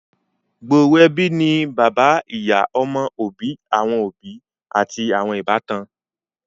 gbooro ẹbí ni bàbá ìyá, ọmọ, òbí awọn òbí ati awọn ìbátan.